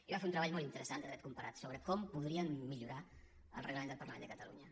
i vam fer un treball molt interessant de dret comparat sobre com podríem millorar el reglament del parlament de catalunya